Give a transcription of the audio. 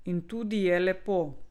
In tudi je lepo.